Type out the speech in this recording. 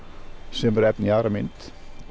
sem er efni í aðra mynd